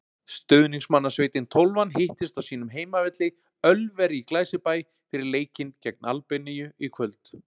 Stuðningsmannasveitin Tólfan hittist á sínum heimavelli, Ölveri í Glæsibæ, fyrir leikinn gegn Albaníu í kvöld.